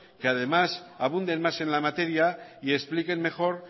que además abunden más en la materia y expliquen mejor